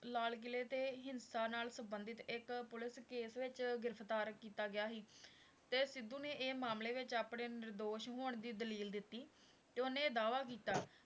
ਲਾਲ ਕਿਲ੍ਹੇ ਤੇ ਹਿੰਸਾ ਨਾਲ ਸੰਬੰਧਤ ਇੱਕ ਪੁੱਲਿਸ case ਵਿੱਚ ਗ੍ਰਿਫ਼ਤਾਰ ਕੀਤਾ ਗਿਆ ਸੀ ਤੇ ਸਿੱਧੂ ਨੇ ਮਾਮਲੇ ਵਿੱਚ ਆਪਣੇ ਨਿਰਦੋਸ਼ ਹੋਣ ਦੀ ਦਲੀਲ ਦਿੱਤੀ, ਤੇ ਉਹਨੇ ਦਾਅਵਾ ਕੀਤਾ